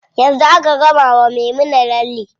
Yanzu aka gama wa Maimuna lalle.